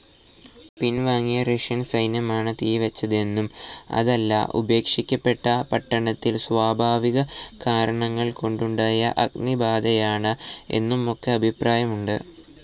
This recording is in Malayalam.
പിൻവാങ്ങിയ റഷ്യൻ സൈന്യമാണ് തീ വെച്ചതെന്നും അതല്ല ഉപേക്ഷിക്കപ്പെട്ട പട്ടണത്തിൽ സ്വാഭാവിക കാരണങ്ങൾ കൊണ്ടുണ്ടായ അഗ്നിബാധയാണ് എന്നുമൊക്കെ അഭിപ്രായമുണ്ട്,.